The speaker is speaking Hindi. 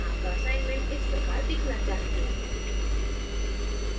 आपका assignments इस प्रकार दिखना चाहिए